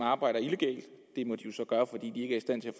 arbejder illegalt det må de jo